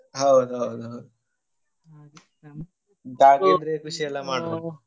ಹೌದೌದು .